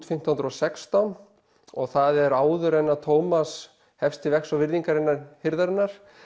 fimmtán hundruð og sextán og það er áður en að Thomas hefst til vegs og virðingar innan hirðarinnar